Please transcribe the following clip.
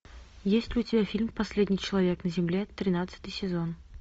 есть ли у тебя фильм последний человек на земле тринадцатый сезон